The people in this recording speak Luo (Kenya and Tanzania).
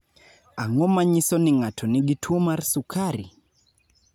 Ang�o ma nyiso ni ng�ato nigi tuo mar sukari?